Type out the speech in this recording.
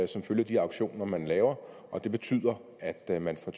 som følge af de auktioner man laver og det betyder at man fra